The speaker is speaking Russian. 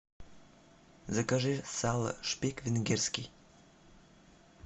закажи сало шпик венгерский